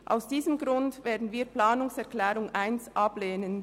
Aus diesem Grund werden wir die Planungserklärung 1 ablehnen.